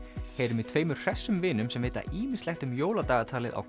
heyrum í tveimur hressum vinum sem vita ýmislegt um jóladagatalið á